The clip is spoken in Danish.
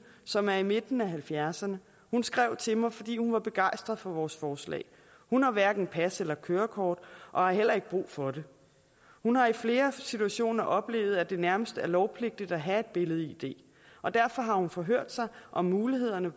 som er i midten af halvfjerdserne hun skrev til mig fordi hun var begejstret for vores forslag hun har hverken pas eller kørekort og har heller ikke brug for det hun har i flere situationer oplevet at det nærmest er lovpligtigt at have et billed id og derfor har hun forhørt sig om mulighederne